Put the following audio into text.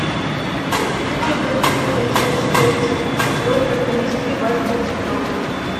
хочу обратиться в консьерж сервис с просьбой принести вазу для цветов